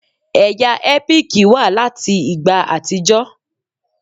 Ẹ̀yà ẹ́píìkì wà láti ìgbà àtijọ́.